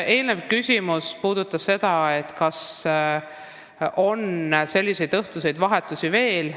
Eelnev küsimus puudutas ka seda, kas selliseid õhtuseid vahetusi on veel.